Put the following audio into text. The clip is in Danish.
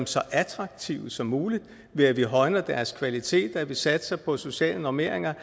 så attraktive som muligt ved at vi højner deres kvalitet ved at vi satser på sociale normeringer